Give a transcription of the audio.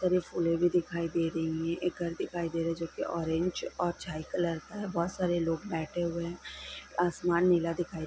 सारी फूले भी दिखाई दे रही है एक घर दिखाई दे रहा है जो ऑरेंज और छाई कलर का है बहोत सारे लोग बैठे हुए है। आसमान नीला दिखाई--